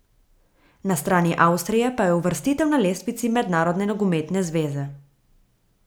Na strani Avstrije pa je uvrstitev na lestvici Mednarodne nogometne zveze.